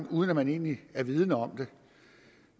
uden at man egentlig er vidende om det